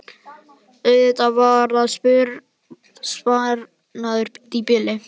Auðvitað var það sparnaður í bili.